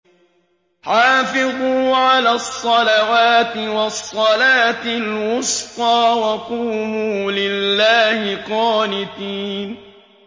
حَافِظُوا عَلَى الصَّلَوَاتِ وَالصَّلَاةِ الْوُسْطَىٰ وَقُومُوا لِلَّهِ قَانِتِينَ